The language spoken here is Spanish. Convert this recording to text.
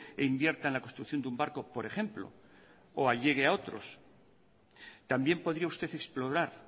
e invierta en la construcción de un barco por ejemplo o allegue a otros también podría usted explorar